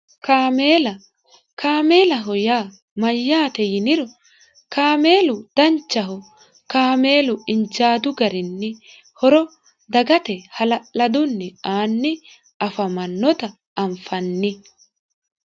kameela kaamelaho yaa mayyaate yinio kameelu danchaho kameelu injaadu garinni horo dagate hala'ladunni aanni afannota anfanni